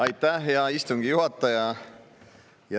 Aitäh, hea istungi juhataja!